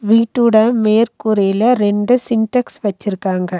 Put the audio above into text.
வீட்டோட மேற்கூரைல இரண்டு சின்டெக்ஸ் வச்சிருக்காங்க.